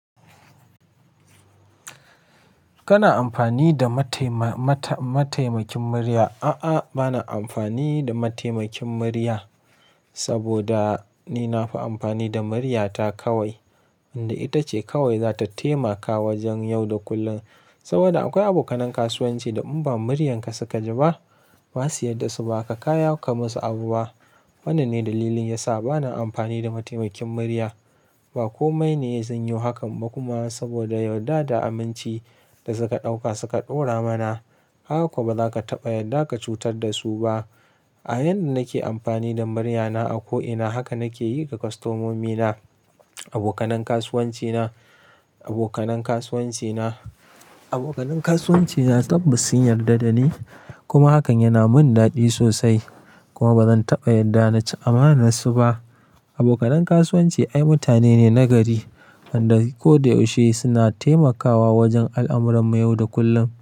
Kana amfani da mataimakin murya? A'a, ba na amfani da mataimakin murya saboda ni na fi amfani da muryata kawai, inda ita ce kawai za ta taimaka wajen yau da kullum. Saboda akwai abokan kasuwanci da in ba muryanka suka ji ba, ba su yarda su ba ka kaya ka musu abu ba. Wannan ne dalilin yasa ba na amfani da mataimakin murya, ba komai ne zan yo hakan ba kuma saboda yarda da aminci da suka ɗauka suka ɗora mana. Kaga ko ba za ka taɓa yarda ka cutar da su ba. A yanda nake amfani da muryana a ko'ina haka nake yi ga kwastomomina, abokan kasuwancina. Abokanan kasuwancina tabbas sun yarda da ni kuma hakan yana mun daɗi sosai. Kuma ba zan taɓa yarda na ci amanar su ba. Abokanan kasuwanci ai mutane ne nagari wanda ko da yaushe suna taimakawa wajen al'amuran mu yau da kullum.